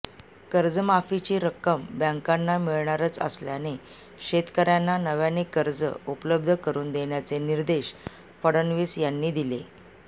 कर्जमाफीची रक्कम बँकांना मिळणारच असल्याने शेतकऱ्यांना नव्याने कर्ज उपलब्ध करून देण्याचे निर्देश फडणवीस यांनी दिले